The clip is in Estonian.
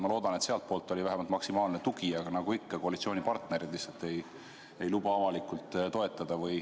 Ma loodan, et sealtpoolt oli vähemalt maksimaalne tugi, aga nagu ikka, siis koalitsioonipartnerid ei luba avalikult toetada.